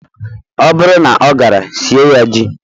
Ọ bụrụ na ọ gara, sie ya ji.